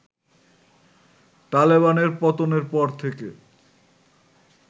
তালেবানের পতনের পর থেকে